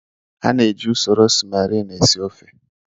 Ana eji usoro smerin esi ofe.